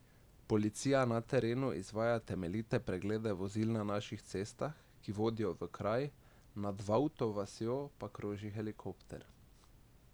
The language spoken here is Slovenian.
Policija na terenu izvaja temeljite preglede vozil na vseh cestah, ki vodijo v kraj, nad Vavto vasjo pa kroži helikopter.